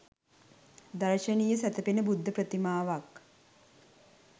දර්ශනීය සැතපෙන බුද්ධ ප්‍රතිමාවක්